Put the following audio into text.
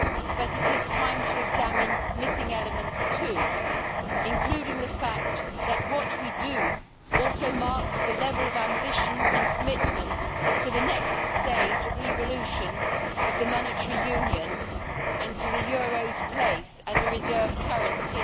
but it is time to examine missing elements too, including the fact that what we do also marks the level of ambition and commitment to the next stage of evolution of the monetary union and to the euro's place as a reserve currency.